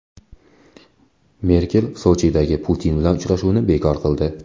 Merkel Sochidagi Putin bilan uchrashuvni bekor qildi.